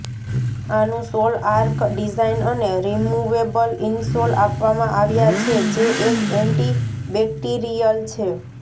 આનું sole arch design અને removable insole આપવામાં આવ્યા છે જે એક એન્ટી બેક્ટીરિયલ છે